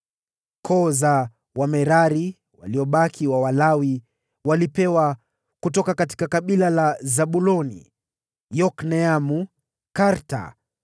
Koo za Wamerari (Walawi waliobaki) walipewa: kutoka kabila la Zabuloni, Yokneamu, Karta,